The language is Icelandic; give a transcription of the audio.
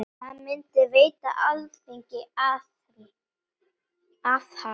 Það myndi veita Alþingi aðhald.